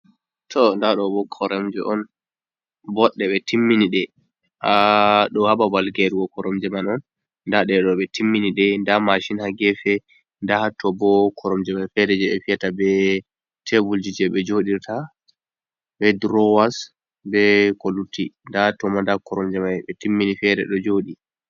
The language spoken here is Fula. To ndaa ɗo bo koromje on boɗɗe ɓe timmini ,ɗe ɗo haa babal geerugo koromje man on. Ndaa ɗe ɗo ɓe timmini ɗe ndaa macin haa geefe .Ndaa haato bo koromje may feere, jey ɓe fiyata be tebulji, jey ɓe joɗirta be durowas be ko lutti .Ndaa toma da koromje may ɓe timmini feere ɗo jooɗi.